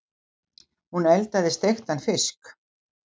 Hún eldaði steiktan fisk.